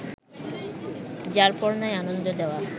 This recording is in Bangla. যারপরনাই আনন্দ দেওয়া